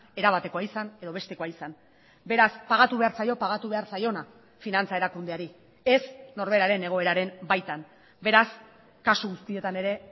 erabatekoa izan edo bestekoa izan beraz pagatu behar zaio pagatu behar zaiona finantza erakundeari ez norberaren egoeraren baitan beraz kasu guztietan ere